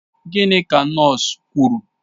Gịnị ka nọọsụ kwuru?